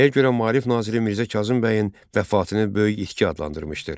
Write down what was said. Nəyə görə maarif naziri Mirzə Kazım bəyin vəfatını böyük itki adlandırmışdır?